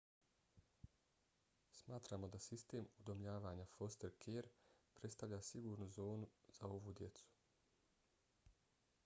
smatramo da sistem udomljavanja foster care predstavlja sigurnu zonu za ovu djecu